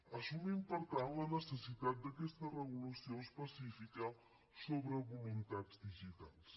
assumim per tant la necessitat d’aquesta regulació específica sobre voluntats digitals